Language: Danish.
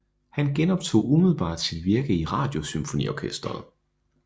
Han genoptog umiddelbart sit virke i Radiosymfoniorkestret